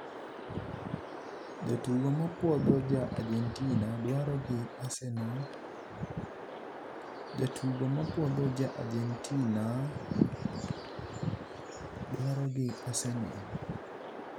Jatugo mapuodho ja Argentina dwaro gi Arsenal. Jatugo mapuodho ja Argentina dwaro gi Arsenal.